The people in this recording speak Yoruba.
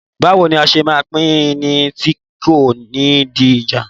Báwo ni a ṣe máa pín in tí kò ní di ìjà?